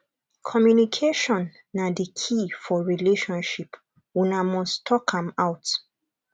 communication na di key for relationship una must talk am out